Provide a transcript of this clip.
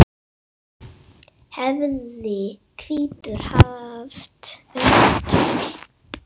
hefði hvítur haft unnið tafl.